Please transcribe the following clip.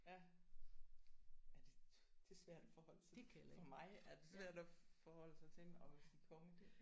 Ja. Ja det det er svært at forholde sig til for mig er det svært at forholde sig til at sige konge